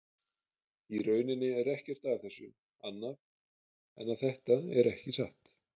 Í rauninni er ekkert að þessu annað en að þetta er ekki satt.